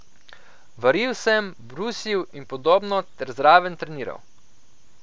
Varil sem, brusil in podobno ter zraven treniral.